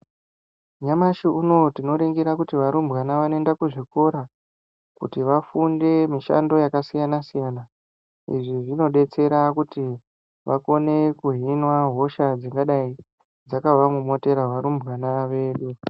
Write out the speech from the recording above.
Nyamashi unouyu tinoningira kuti varumbwana vanoenda kuzvikora kuti vafunde mishando yakasiyanasiyana izvi zvinodetsera kuti vakone kihinwa hosha dzingadai dzakavamomotera varumbwana vedu.